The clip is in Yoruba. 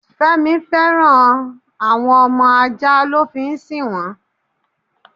Fẹ́mi féràn àwọn ọmọ ajá lo fi ń sì wọn.